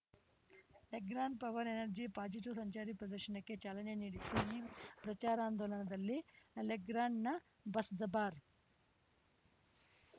Legrand power energy positive ಸಂಚಾರಿ ಪ್ರದರ್ಶನಕ್ಕೆ ಚಾಲನೆ ನೀಡಿತು ಈ ಪ್ರಚಾರಾಂದೋಲನದಲ್ಲಿ ಲೆಗ್ರ್ಯಾಂಡ್‌ನ ಬಸ್‌ದಬಾರ್